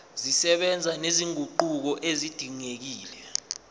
zisebenza nezinguquko ezidingekile